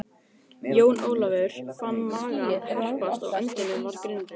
Flóttafólk flutt til Sikileyjar